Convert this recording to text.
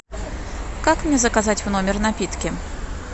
как мне заказать в номер напитки